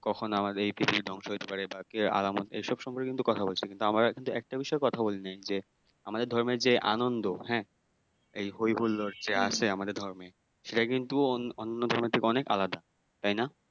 কখনো আমাদের এই পৃথিবী ধ্বংস হতে পারে এটাকে আর এসব সম্পর্কে কিন্তু কথা বলছিনা কিন্তু আমরা কিন্তু একটা বিষয়ে কথা বলিনাই যে আমাদের ধর্মের যে আনন্দ হ্যাঁ এই হৈ হুল্লোর যে আছে আমাদের ধর্মে সেটা কিন্তু অন্য ধর্মের থেকে অনেক আলাদা তাই না?